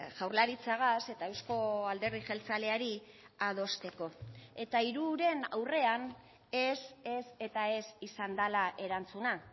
jaurlaritzagaz eta euzko alderdi jeltzaleari adosteko eta hiruren aurrean ez ez eta ez izan dela erantzuna